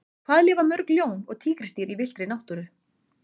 Hvað lifa mörg ljón og tígrisdýr í villtri náttúru?